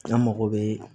An mago bɛ